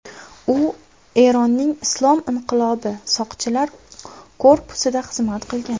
U Eronning Islom inqilobi soqchilar korpusida xizmat qilgan.